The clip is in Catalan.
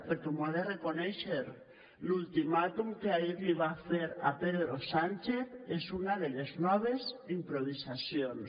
perquè m’ho ha de reconèixer l’ultimàtum que ahir li va fer a pedro sánchez és una de les noves improvisacions